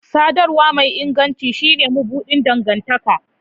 Sadarwa mai inganci shine mabuɗin dangantaka